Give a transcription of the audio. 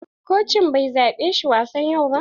Kocin bai zaɓe shi wa wasan yau ba.